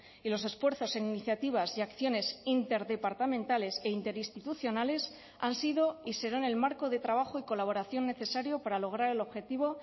y los esfuerzos en iniciativas y acciones interdepartamentales e interinstitucionales han sido y serán el marco de trabajo y colaboración necesario para lograr el objetivo